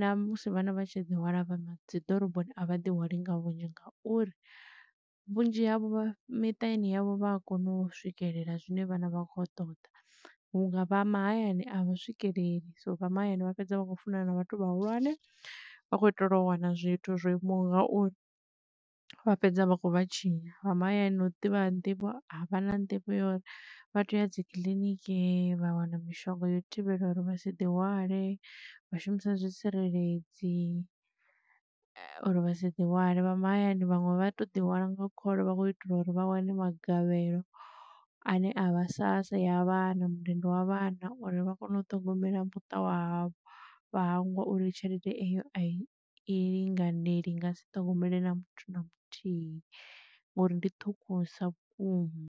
na musi vhana vha tshi ḓi hwala vha dzi ḓoroboni a vha ḓi hwali nga vhunzhi ngauri vhunzhi havho vha miṱani yavho vha a kona u swikelela zwine vhana vha kho ṱoḓa. Hu nga vha mahayani a vha swikeleli so vha mahayani vha fhedza vha khou funana na vhathu vhahulwane, vha kho itela u wana zwithu zwo imaho ngauri vha fhedza vha kho vhatshinya. Vha mahayani na u ḓivha ha nḓivho a vha na nḓivho uri vha teya uya dzi kiḽiniki vha wana mishonga yo u thivhela uri vha si ḓi hwale vha shumisa zwitsireledzi uri vha si ḓi hwale. Vha mahayani vhaṅwe vha to ḓihwala nga khole vha khou itela uri vha wane magavhelo ane a vha sassa ya vhana mundende wa vhana uri vha kone u ṱhogomela muṱa wa havho vha hangwa uri tshelede eyo a i i linganeli i nga si ṱhogomele na muthu na muthihi ngori ndi ṱhukhu sa vhukuma.